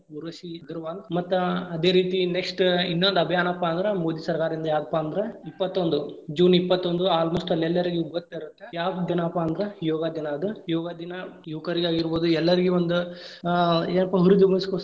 ಊರ್ವಶೀ ಅಗರವಾಲ್ ಮತ್ತ್ ಅದೇ ರೀತಿ next ಇನ್ನೊಂದ್‌ ಅಭಿಯಾನಪ್ಪಾ ಅಂದ್ರ ಮೋದಿ ಸರ್ಕಾರದಿಂದ ಯಾವ್ದಪ್ಪಾ ಅಂದ್ರ ಇಪ್ಪತ್ತೊಂದು June ಇಪ್ಪತ್ತೊಂದು almost all ಎಲ್ಲರಿಗೂ ಗೊತ್ತಿರತ್ತೇ ಯಾವದ್‌ ದಿನಾಪ್ಪಾ ಅಂದ್ರ ಯೋಗಾ ದಿನಾ ಅದ್‌ ಯೋಗಾ ದಿನಾ ಯುವಕರಿಗಾಗಿರಬಹುದು ಎಲ್ಲಾರಿಗೂ ಒಂದ್‌ ಅ ಏನ್ಪಾ ಅಭಿವೃದ್ಧಿಗೊಳಿಸೊಗೋಸ್ಕರ.